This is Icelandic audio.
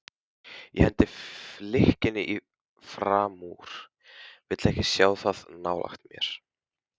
Ég hendi flikkinu framúr, vil ekki sjá það nálægt mér.